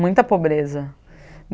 Muita pobreza.